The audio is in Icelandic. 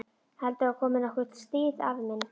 Heldurðu að komi nokkuð stríð, afi minn?